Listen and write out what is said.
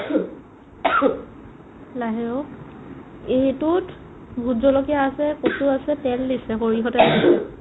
লাহে অ' এইটোত ভোটজলকীয়া আছে , কচু আছে, তেল দিছে, সৰিহ তেল আছে